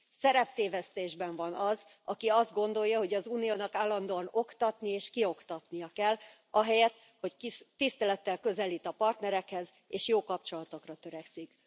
Szereptévesztésben van az, aki azt gondolja, hogy az Uniónak állandóan oktatni és kioktatnia kell, ahelyett, hogy kis tisztelettel közelít a partnerekhez és jó kapcsolatokra törekszik.